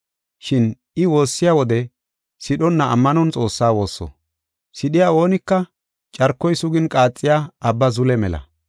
Shin I woossiya wode sidhonna ammanon Xoossaa woosso. Sidhiya oonika carkoy sugin qaaxiya abba zule mela.